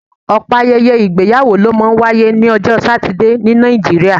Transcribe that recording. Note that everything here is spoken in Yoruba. Ọ̀pọ̀ ayẹyẹ ìgbéyàwó ló máa ń wáyé lọ́jọ́ Satidé ní Nàìjíríà